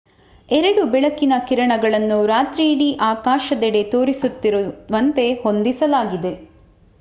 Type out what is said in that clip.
ಎರಡು ಬೆಳಕಿನ ಕಿರಣಗಳನ್ನು ರಾತ್ರಿಯಿಡೀ ಆಕಾಶದೆಡೆ ತೋರಿಸುತ್ತಿರುವಂತೆ ಹೊಂದಿಸಲಾಗಿದೆ